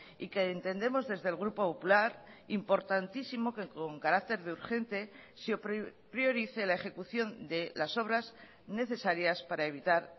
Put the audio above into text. y que entendemos desde el grupo popular importantísimo que con carácter de urgente se priorice la ejecución de las obras necesarias para evitar